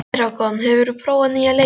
Eragon, hefur þú prófað nýja leikinn?